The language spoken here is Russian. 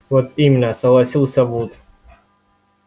вот именно согласился вуд